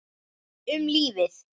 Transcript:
Um lífið.